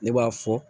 Ne b'a fɔ